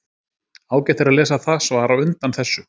Ágætt er að lesa það svar á undan þessu.